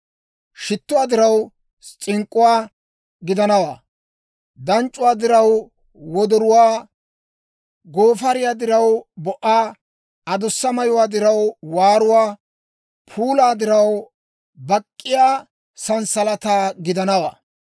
Shittuwaa diraw s'ink'k'uwaa gidanawaa; danc'c'uwaa diraw wodoruwaa, goofariyaa diraw bo"aa, adussa mayuwaa diraw waaruwaa, puulaa diraw bak'k'iyaa s'alalaa gidanawaa.